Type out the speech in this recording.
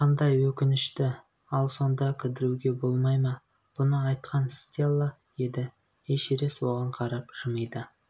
қандай өкінішті ал сонда кідіруге болмай ма бұны айтқан стелла еді эшерест оған қарап жымиды